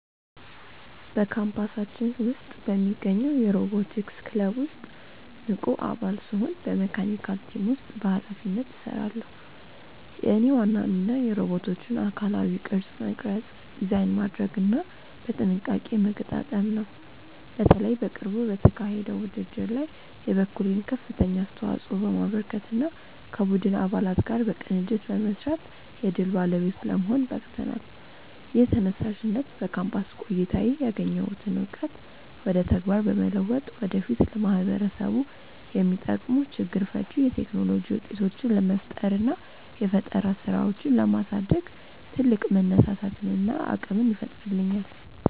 በካምፓሳችን ውስጥ በሚገኘው የሮቦቲክስ ክለብ ውስጥ ንቁ አባል ስሆን በመካኒካል ቲም ውስጥ በኃላፊነት እሰራለሁ። የእኔ ዋና ሚና የሮቦቶቹን አካላዊ ቅርጽ መቅረጽ፣ ዲዛይን ማድረግና በጥንቃቄ መገጣጠም ነው። በተለይ በቅርቡ በተካሄደው ውድድር ላይ የበኩሌን ከፍተኛ አስተዋጽኦ በማበርከትና ከቡድን አባላት ጋር በቅንጅት በመስራት የድል ባለቤት ለመሆን በቅተናል። ይህ ተነሳሽነት በካምፓስ ቆይታዬ ያገኘሁትን እውቀት ወደ ተግባር በመለወጥ ወደፊት ለማህበረሰቡ የሚጠቅሙ ችግር ፈቺ የቴክኖሎጂ ውጤቶችን ለመፍጠርና የፈጠራ ስራዎችን ለማሳደግ ትልቅ መነሳሳትንና አቅምን ይፈጥርልኛል።